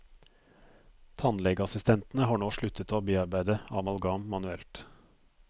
Tannlegeassistentene har nå sluttet å bearbeide amalgam manuelt.